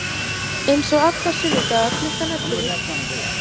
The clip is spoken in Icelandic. Eins og alla sunnudaga klukkan ellefu.